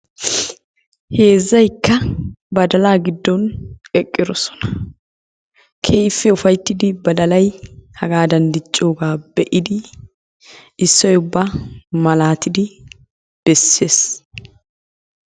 Heezzayikka badalaa giddon eqqidosona. Keehippe ufayitidi badalay hagaadan diccoogaa be'idi issoy ubba malaatidi bessees.